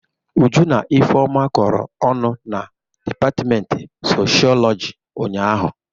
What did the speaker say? Uju na Ifeọma kọrọ ọnụ na dịpatịmentị socholọjị ụnyaahụ.